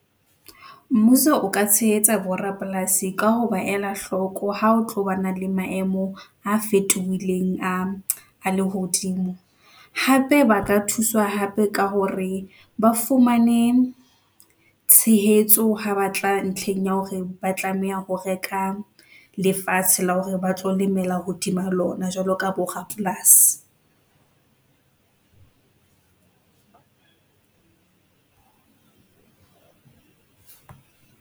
Mmuso o ka tshehetsa borapolasi ka ho ba ela hloko ha o tloba na le maemo a fetohileng a lehodimo. Hape ba ka thuswa hape ka hore ba fumane tshehetso ha ba tla ntlheng ya hore ba tlameha ho reka, lefatshe la hore ba tlo lemela hodima lona, jwalo ka borapolasi.